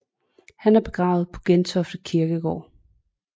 Han er begravet på Gentofte Kirkegård